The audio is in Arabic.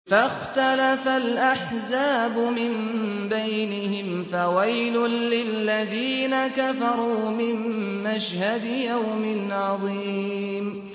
فَاخْتَلَفَ الْأَحْزَابُ مِن بَيْنِهِمْ ۖ فَوَيْلٌ لِّلَّذِينَ كَفَرُوا مِن مَّشْهَدِ يَوْمٍ عَظِيمٍ